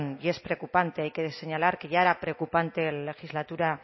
y es preocupante hay que señalar que ya era preocupante en la legislatura